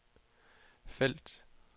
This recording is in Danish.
felt